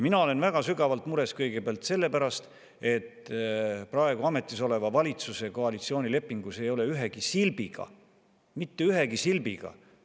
Mina olen väga sügavalt mures kõigepealt selle pärast, et praegu ametis oleva valitsuse koalitsioonilepingus ei ole ühegi silbiga – mitte ühegi silbiga!